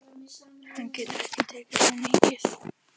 Hann getur ekki tekið svo mikið.